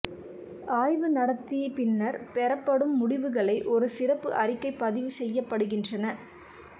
ஆய்வு நடத்தி பின்னர் பெறப்படும் முடிவுகளை ஒரு சிறப்பு அறிக்கை பதிவு செய்யப்பட்டிருக்கின்றன